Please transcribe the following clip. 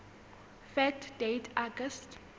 fact date august